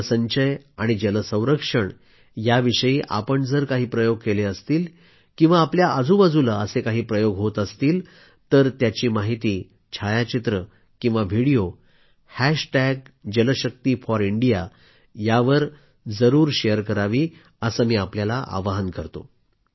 जलसंचय आणि जल संरक्षण याविषयी आपण जर काही प्रयोग केले असतील किंवा आपल्या आजूबाजूला असे काही प्रयोग होत असतील तर त्यांची माहिती छायाचित्र किंवा व्हिडिओ हॅशटॅग जलशक्तीफॉरइंडिया यावर जरूर शेअर करावी असं मी आपल्याला आवाहन करतो